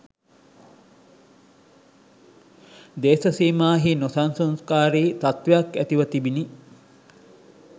දේශසීමාහි නොසන්සුන්කාරී තත්ත්වයක් ඇතිව තිබිණි